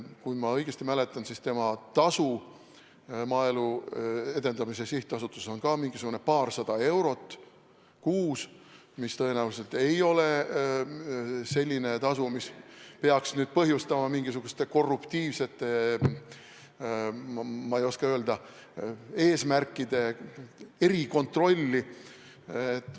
Kui ma õigesti mäletan, siis tema tasu Maaelu Edendamise Sihtasutuses on mingisugune paarsada eurot kuus, mis tõenäoliselt ei ole selline tasu, mis peaks nüüd põhjustama mingisuguste korruptiivsete, ma ei oska öelda, eesmärkide erikontrolli.